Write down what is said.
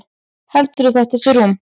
Heldurðu að þetta sé rúm?